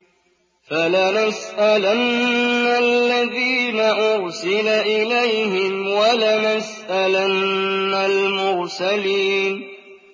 فَلَنَسْأَلَنَّ الَّذِينَ أُرْسِلَ إِلَيْهِمْ وَلَنَسْأَلَنَّ الْمُرْسَلِينَ